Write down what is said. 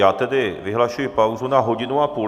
Já tedy vyhlašuji pauzu na hodinu a půl.